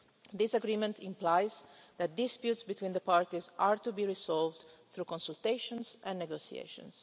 This agreement implies that disputes between the parties are to be resolved through consultations and negotiations.